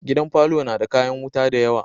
Gidan parlour na kayan wuta da yawa